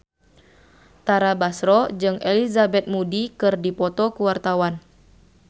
Tara Basro jeung Elizabeth Moody keur dipoto ku wartawan